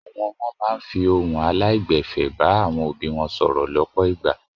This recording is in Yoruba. Àwọn ọmọ máa ń fi ìhun aláìgbẹ̀fẹ̀ bá àwọn òbí wọn sọ̀rọ̀ lọ́pọ̀ ìgbà.